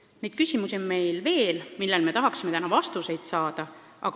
Niisuguseid küsimusi on meil veel ja me tahaksime neile täna vastuseid saada.